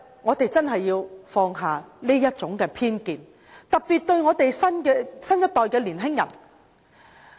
我們真的要放下這種偏見，特別是新一代的年輕人。